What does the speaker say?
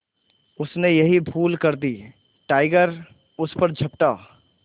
उसने यही भूल कर दी टाइगर उस पर झपटा